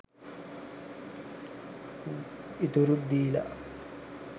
ඉතුරු ත් දිලා